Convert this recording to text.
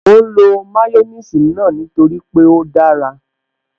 Mò ń lo máyọ́nìsì náà nítorí pé ó dára